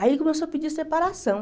Aí ele começou a pedir separação.